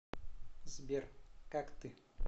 сбер как ты